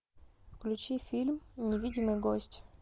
включи фильм невидимый гость